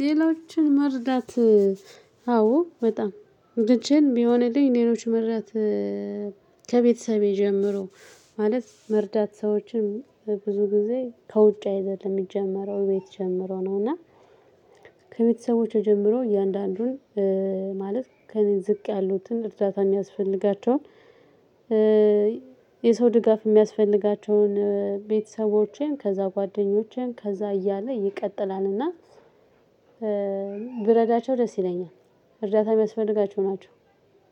ሌሎችን መርዳት አዎ በጣም ልጄን ቢሆንልኝ ሌሎች መርዳት ከቤተሰቤ ጀምሮ ማለት መርዳት ሰዎችን ብዙ ጊዜ ከውጭ አይደለም የሚጀመረው ቤት ጀምሮ ነው። እና ከቤተሰቦቼ ጀምሮ እያንዳንዱን ማለት ከእኔ ዝቅ ያሉትን እርዳታ የሚያስፈልጋቸውን የሰው ድጋፍ የሚያስፈልጋቸውን ቤተሰቦቼን ከዛ ጓደኞቼን ከዛ እያለ ይቀጥላልና ብረዳቸው ደስ ይለኛል። እርዳታ የሚያስፈልጋቸው ናቸው።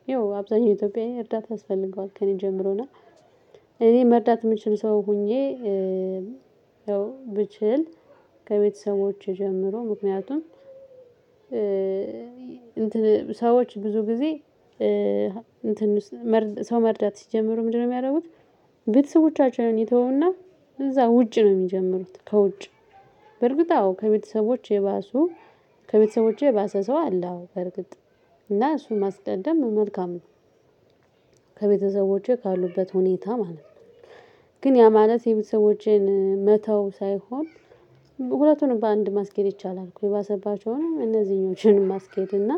ይኸው አብዛኛው ኢትዮጵያዊ እርዳታ ያስፈልገዋል። ከእኔ ጀምሮና እኔ መርዳት የምችል ሰው ሆኜ ያው ብችል። ከቤተሰቦቼ ጀምሮ ምክንያቱም እንትን ሰዎች ብዙ ጊዜ እንትን ሰው መርዳት ሲጀምሩ ምንድነው የሚያደርጉት? ቤተሰቦቻችንን ይተዉና እዛ ውጭ ነው የሚጀምሩት። ከውጭ በርግጥ አዎ ከቤተሰቦች የባሱ ከቤተሰቦቼ የባሰ ሰው አለ። አዎ በርግጥ እና እሱ ማስቀደም መልካም ነው። ከቤተሰቦቼ ካሉበት ሁኔታ ማለት ነው። ግን ያ ማለት የቤተሰቦቼን መተው ሳይሆን ሁለቱንም በአንድ ማስኬድ ይቻላል። እኮ የባሰባቸውንም እነዚህኞችንም ማስኬድ እና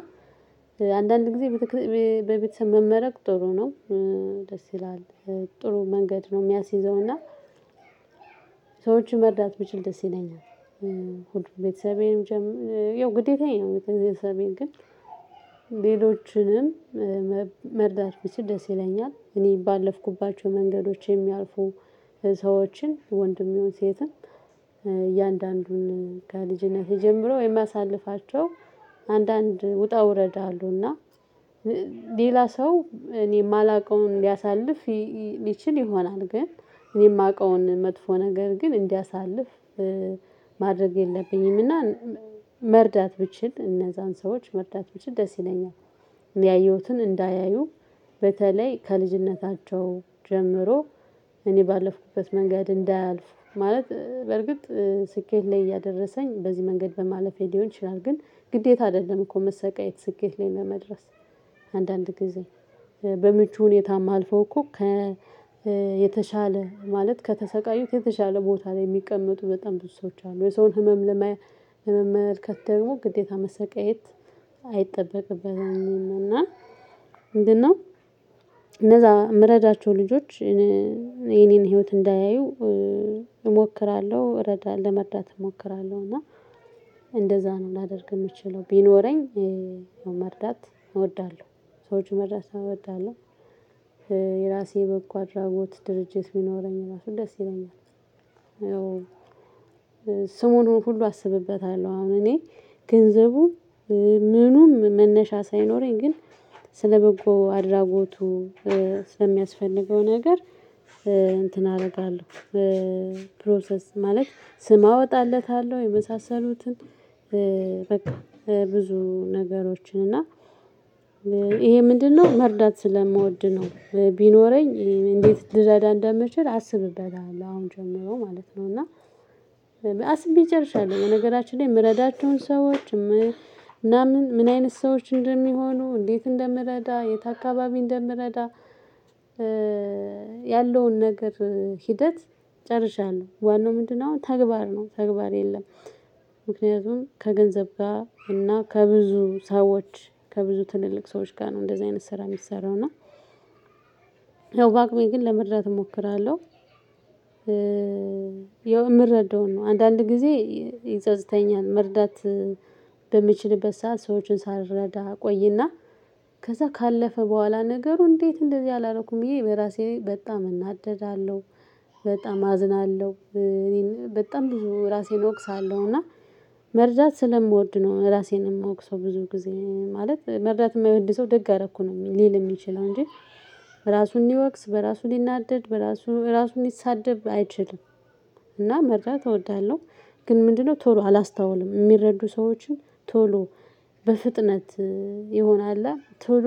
አንዳንድ ጊዜ በቤተሰብ መመረቅ ጥሩ ነው። ደስ ይላል ጥሩ መንገድ ነው የሚያስይዘውና ሰዎችን መርዳት ብችል ደስ ይለኛል። ሁሉም ቤተሰቤም ያው ግዴታዬ ነው ቤተሰቤን ግን ሌሎችንም መርዳት ብችል ደስ ይለኛል። እኔ ባለፍኩባቸው መንገዶች የሚያልፉ ሰዎችን ወንድም ይሁን ሴትን እያንዳንዱን ከ ልጅነቴ ጀምሮ የማሳልፋቸው አንዳንድ ውጣ ውረድ አሉና ሌላ ሰው እኔ የማላውቀውን ሊያሳልፍ ሊችል ይሆናል። ግን እኔ የማውቀውን መጥፎ ነገር ግን እንዲያሳልፍ ማድረግ የለብኝምና መርዳት ብችል እነዛን ሰዎች መርዳት ብችል ደስ ይለኛል። ያየሁትን እንዳያዩ በተለይ ከልጅነታቸው ጀምሮ እኔ ባለፍኩበት መንገድ እንዳያልፍ ማለት በርግጥ ስኬት ላይ እያደረሰኝ በዚህ መንገድ በማለፌ ሊሆን ይችላል። ግን ግዴታ አይደለም። እኮ መሰቃየት ስኬት ላይ ለመድረስ አንዳንድ ጊዜ በምቹ ሁኔታ ማልፈው እኮ ከ የተሻለ ማለት ከተሰቃዩት የተሻለ ቦታ ላይ የሚቀመጡ በጣም ብዙ ሰዎች አሉ። የሰውን ህመም ለመመልከት ደግሞ ግዴታ መሰቀየት አይጠበቅበትም። እና ምንድነው? የምረዳቸው ልጆች የኔን ህይወት እንዳያዩ እሞክራለሁ እረዳ ለመርዳት እሞክራለሁ። እና እንደዛ ነው ላደርግ የምችለው ቢኖረኝ መርዳት እወዳለሁ ሰዎችን መርዳት እወዳለሁ። የራሴ በጎ አድራጎት ድርጅት ቢኖረኝ ራሱ ደስ ይለኛል። ያው ስሙን ሁሉ አስብበታለሁ አሁን እኔ ገንዘቡም ምኑም መነሻ ሳይኖረኝ ግን ስለበጎ አድራጎቱ ስለሚያስፈልገው ነገር እንትን አደርጋለሁ። ፕሮሰስ ማለት ስም አወጣለታለሁ። የመሳሰሉትን በቃ ብዙ ነገሮችን እና ይሄ ምንድነው መርዳት ስለምወድ ነው። ቢኖረኝ እንዴት ልረዳ እንደምችል አስብበታለሁ አሁን ጀምሮ ማለት ነው። እና አስቤ ጨርሻለሁ። በነገራችን ላይ የምረዳቸውን ሰዎች ምናምን ምን አይነት ሰዎች እንደሚሆኑ እንዴት እንደምረዳ የት አካባቢ እንደምረዳ። ያለውን ነገር ሂደት ጨርሻለሁ ዋናው ምንድነው? አሁን ተግባር ነው ተግባር የለም። ምክንያቱም ከገንዘብ ጋር እና ከብዙ ሰዎች ከብዙ ትልልቅ ሰዎች ጋር ነው እንደዚህ አይነት ስራ የሚሰራው እና በአቅሜ ግን ለመርዳት እሞክራለሁ። ያው እምረዳውን ነው አንዳንድ ጊዜ ይጸጽተኛል። መርዳት በምችልበት ሰዓት ሰዎችን ሳልረዳ እቆይና ከዛ ካለፈ በኋላ ነገሩ እንዴት እንደዚህ አላረኩም ብዬ በራሴ ላይ በጣም እናደዳለው። በጣም አዝናለው። እኔ በጣም ብዙ ራሴን እወቅሳለሁ። እና መርዳት ስለምወድ ነው ራሴን የምወቅሰው ብዙ ጊዜ ማለት መርዳት የማይወድ ሰው ደግ አረኩ ነው። ሚል ለል የሚችለው እንጂ ራሱን ሊወቅስ በራሱ ሊናደድ በራሱ ራሱን ሊሳደብ አይችልም። እና መርዳት እወዳለሁ። ግን ምንድነው? ቶሎ አላስታውልም የሚረዱ ሰዎችን ቶሎ በፍጥነት ይሆነ አለኣ ቶሎ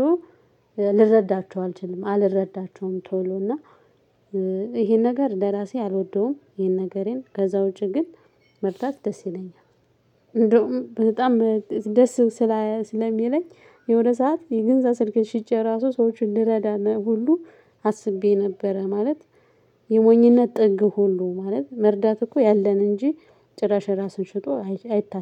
ልረዳቸው አልችልም አልረዳቸውም ቶሎ እና ይሄን ነገር ለራሴ አልወደውም ይሄን ነገሬን ከዛ ውጪ ግን መርዳት ደስ ይለኛል። እንደውም በጣም ደስ ስለሚለኝ የሆነ ሰዓት የገዛ ስልኬን ሽጬ ራሱ ሰዎችን ልረዳ ሁሉ አስቤ ነበረ። ማለት የሞኝነት ጥግ ሁሉ ማለት መርዳት እኮ ያለን እንጂ ጭራሽ የራሱን ሽጦ አይታሰ